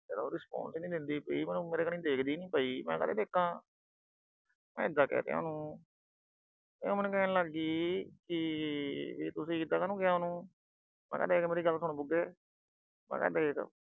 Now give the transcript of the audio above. ਉਹ respond ਹੀ ਨਹੀਂ ਦਿੰਦੀ ਪਈ, ਮੇਰੇ ਖਨੀ ਦੇਖਦੀ ਨੀ ਪਈ, ਮੈਂ ਕਾਹਤੇ ਦੇਖਾ। ਮੈਂ ਏਦਾਂ ਕਹਿ ਤਾ ਉਹਨੂੰ। ਤੇ ਉਹ ਮੈਨੂੰ ਕਹਿਣ ਲੱਗ ਗਈ ਕਿ ਤੁਸੀਂ ਏਦਾ ਕਾਹਨੂੰ ਕਿਹਾ ਉਹਨੂੰ। ਮੈਂ ਕਿਹਾ ਦੇਖ ਮੇਰੀ ਗੱਲ ਸੁਣ ਬੁਗੇ, ਮੈਂ ਕਿਹਾ ਦੇਖ